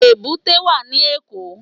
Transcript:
Èbúté wà ní Èkó.